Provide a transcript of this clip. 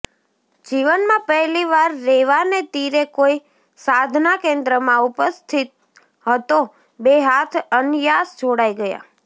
જીવનમાં પહેલી વાર રેવાને તીરે કોઈ સાધના કેન્દ્રમાં ઉપસ્થિત હતો બે હાથ અનયાસ જોડાઈ ગયા